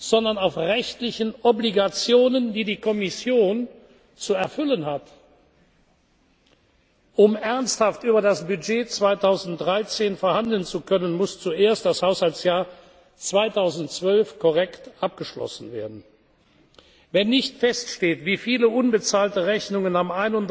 oder auf Annahmen, sondern auf rechtlichen Verpflichtungen, die die Kommission zu erfüllen hat. Um ernsthaft über das Budget 2013 verhandeln zu können, muss zuerst das Haushaltsjahr 2012 korrekt abgeschlossen werden. Wenn nicht feststeht, wie viele unbezahlte